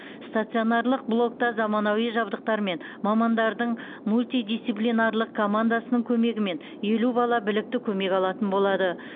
стационарлық блокта заманауи жабдықтар мен мамандардың мультидисциплинарлық командасының көмегімен елу бала білікті көмек алатын болады